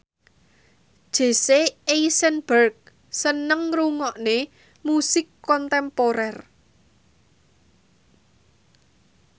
Jesse Eisenberg seneng ngrungokne musik kontemporer